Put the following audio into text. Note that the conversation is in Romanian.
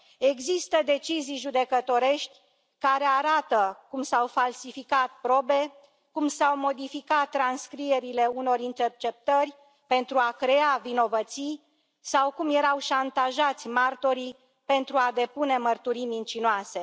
Există decizii judecătorești care arată cum s au falsificat probe, cum s au modificat transcrierile unor interceptări pentru a crea vinovății sau cum erau șantajați martorii pentru a depune mărturii mincinoase.